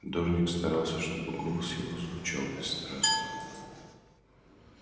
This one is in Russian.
дорник старался чтобы голос его звучал бесстрастно